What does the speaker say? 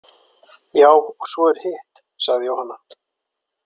Já, og svo er hitt, sagði Jóhanna.